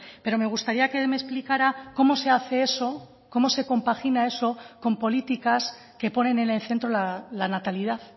pero me gustaría que me explicara cómo se hace eso cómo se compagina eso con políticas que ponen en el centro la natalidad